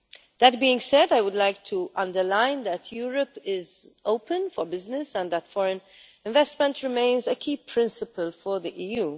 That being said, I would like to underline that Europe is open for business and that foreign investment remains a key principle for the EU.